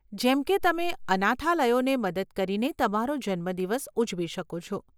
જેમ કે તમે અનાથાલયોને મદદ કરીને તમારો જન્મદિવસ ઉજવી શકો છો.